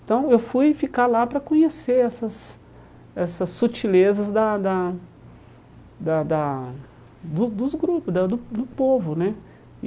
Então eu fui ficar lá para conhecer essas essas sutilezas da da da da do dos grupos, da do do povo né.